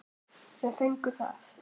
Þau fengu það.